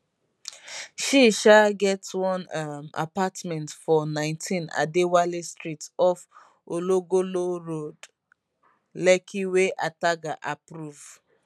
she um get one um apartment for 19 adewale street off ologolo road lekki wey ataga approve